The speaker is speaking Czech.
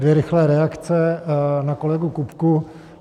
Dvě rychlé reakce na kolegu Kupku.